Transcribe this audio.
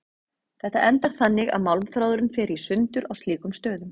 Þetta endar þannig að málmþráðurinn fer í sundur á slíkum stöðum.